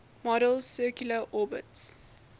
model's circular orbits